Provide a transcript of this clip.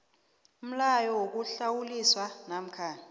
umlayo wokuhlawulisa namkha